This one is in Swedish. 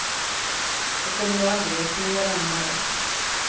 Jag kommer nog aldrig att kunna göra om det här.